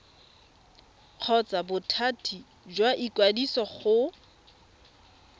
kgotsa bothati jwa ikwadiso go